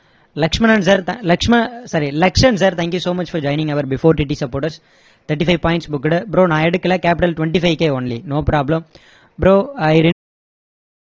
Lakshmanan sir sorry Lakshan sir thank you so much for joining our before TT supporters thirty-five points booked bro நான் எடுக்கலை capital twenty-five K only no problem bro i